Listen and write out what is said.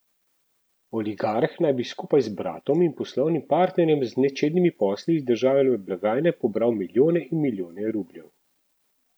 Oligarh naj bi skupaj z bratom in poslovnim partnerjem z nečednimi posli iz državne blagajne pobral milijone in milijone rubljev.